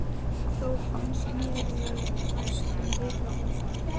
Þó fannst mér ég næstum vita það.